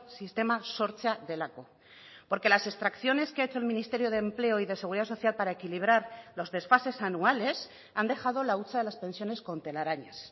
sistema sortzea delako porque las extracciones que ha hecho el ministerio de empleo y de seguridad social para equilibrar los desfases anuales han dejado la hucha de las pensiones con telarañas